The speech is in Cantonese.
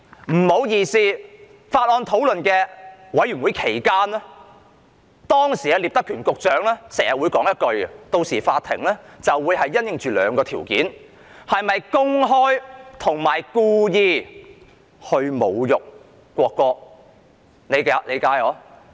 不好意思，在法案委員會討論期間，時任聶德權局長經常說："到時法庭會因應兩個條件作出判決，即是否公開和故意侮辱國歌"。